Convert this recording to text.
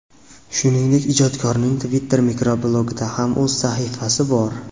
Shuningdek, ijodkorning Twitter mikroblogida ham o‘z sahifasi bor.